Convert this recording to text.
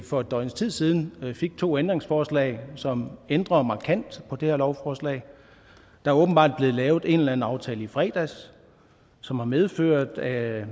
for et døgns tid siden fik to ændringsforslag som ændrer markant på det her lovforslag der er åbenbart blevet lavet en eller anden aftale i fredags som har medført at